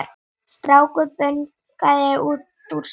Strákur bunaði út úr sér